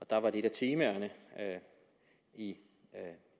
der var et af temaerne i